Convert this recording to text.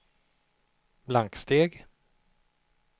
blanksteg